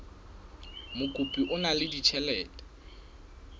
mokopi o na le ditjhelete